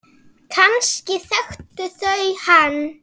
Kannski þekktu þau hann.